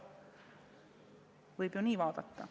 Seda võib ju nii vaadata.